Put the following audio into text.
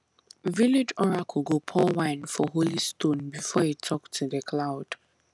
village oracle go pour wine for holy stone before e talk to di cloud